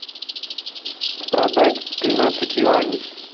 продать тринадцать юаней